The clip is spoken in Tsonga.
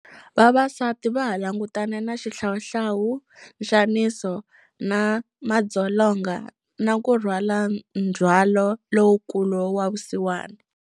Vavasati vaha langutane na xihlawuhlawu, nxaniso na madzolonga, na ku rhwala ndzhwalo lowukulu wa vusiwana.